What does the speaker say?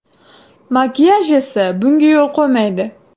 Makiyaj esa bunga yo‘l qo‘ymaydi.